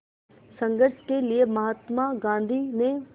संघर्ष के लिए महात्मा गांधी ने